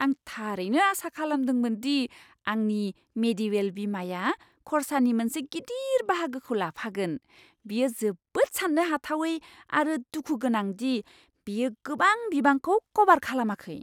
आं थारैनो आसा खालामदोंमोन दि आंनि मेडिवेल बीमाया खरसानि मोनसे गिदिर बाहागोखौ लाफागोन। बेयो जोबोद सान्नो हाथावै आरो दुखु गोनां दि बेयो गोबां बिबांखौ कभार खालामाखै।